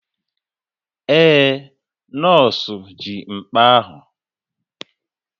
Ee, nọọsụ ji mkpa ahụ